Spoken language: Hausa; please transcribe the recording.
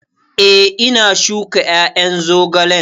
Eh, ina shuka ƴaƴan zogalen